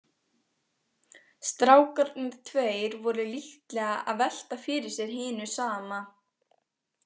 Strákarnir tveir voru líklega að velta fyrir sér hinu sama.